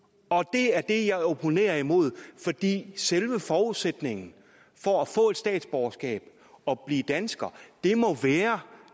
det er det jeg opponerer imod fordi selve forudsætningen for at få et statsborgerskab og blive dansker må være